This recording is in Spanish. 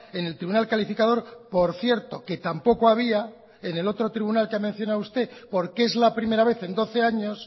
en el tribunal calificador por cierto que tampoco había en el otro tribunal que ha mencionado usted porque es la primera vez en doce años